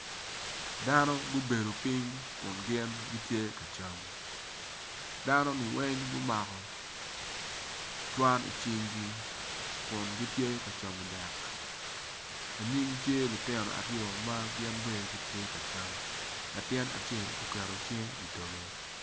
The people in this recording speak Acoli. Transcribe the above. Dano gubedo piny kun gin gitye ka cam dano-ni weng gumako cwan icinggi kungitye ka camo dek anyim tye lutino aryo ma gin bene gitye ka cam latin acel oketo cinge idoge.